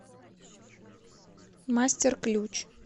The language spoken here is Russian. мастер ключ